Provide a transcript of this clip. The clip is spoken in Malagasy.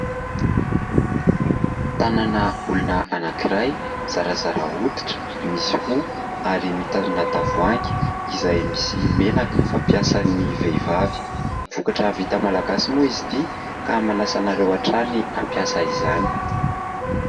Tanana olona anankiray, zarazara hoditra, misy hoho ary mitazona tavoahangy izay misy menaka fampiasan'ny vehivavy. Vokatra vita Malagasy moa izy ity ka manasa anareo hatrany hampiasa izany.